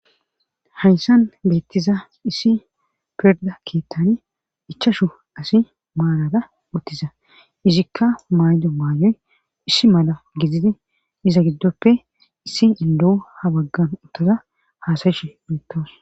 hayssan beettiza issi perda keettani ichashu asi maalada uttiza izikka maanjo maayoy issi mala giziti iza giddoppe issi indohu ha baggan uttoza haasayishi meettos